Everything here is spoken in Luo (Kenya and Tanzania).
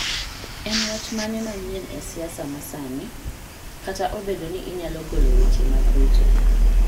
En wach mane manyien e siasa ma sani? Kata obedo ni inyalo golo weche mag ruto